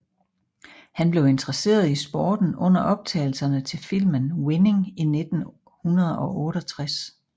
Han blev interesseret i sporten under optagelserne til filmen Winning i 1968